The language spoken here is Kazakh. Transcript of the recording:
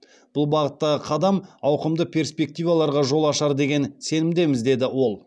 бұл бағыттағы қадам ауқымды перспективаларға жол ашар деген сенімдеміз деді ол